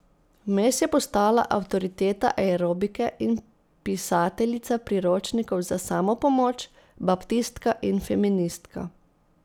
Vmes je postala avtoriteta aerobike in pisateljica priročnikov za samopomoč, baptistka in feministka.